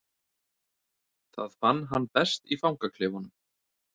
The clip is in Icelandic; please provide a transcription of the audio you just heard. Það fann hann best í fangaklefanum.